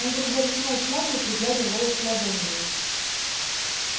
он вдруг даже снял шляпу и пригладил волосы ладонью